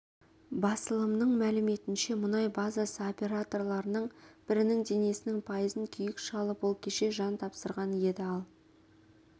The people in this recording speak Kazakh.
басылымның мәліметінше мұнай базасы операторларының бірінің денесінің пайызын күйік шалып ол кеше жан тапсырған еді ал